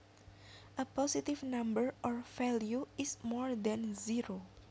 A positive number or value is more than zero